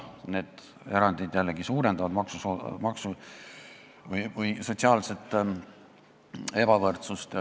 Need erandid jällegi suurendavad sotsiaalset ebavõrdsust.